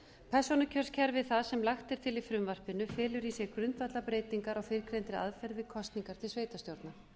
persónukjörskerfi það sem lagt er til í frumvarpinu felur í sér grundvallarbreytingar á fyrrgreindri aðferð við kosningar til sveitarstjórna